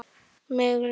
Mig lang